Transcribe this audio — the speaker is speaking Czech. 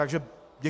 Takže děkuji.